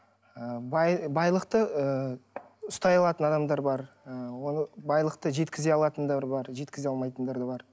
ы байлықты ыыы ұстай алатын адамдар бар ы ол байлықты жеткізе алатындар бар жеткізе алмайтындар да бар